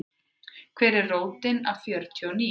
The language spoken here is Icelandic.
Hver er rótin af fjörtíu og níu?